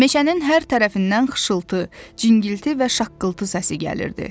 Meşənin hər tərəfindən xışıltı, cingilti və şaqqıltı səsi gəlirdi.